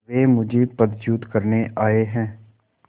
वे मुझे पदच्युत करने आये हैं